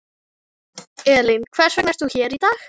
Elín: Hvers vegna er þú hér í dag?